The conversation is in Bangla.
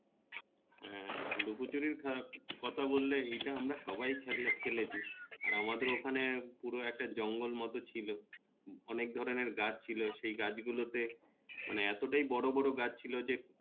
হ্যাঁ লুকোচুরি আহ কথা বললে এটা আমরা সবাই খেলা খেলেছি আর আমাদের ওখানে পুরো একটা জঙ্গল মত ছিলো অনেক ধরনের গাছ ছিলো সে গাছ গুলোতে মানে এত টাই বড় বড় গাছ ছিলো যে